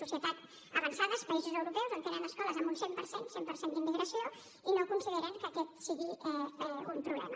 societats avançades països europeus on tenen escoles amb un cent per cent cent per cent d’immigració i no consideren que aquest sigui un problema